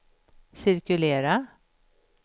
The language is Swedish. cirkulera